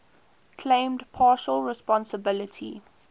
claimed partial responsibility